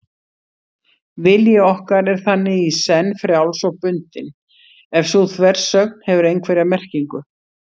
Vilji okkar er þannig í senn frjáls og bundinn, ef sú þversögn hefur einhverja merkingu.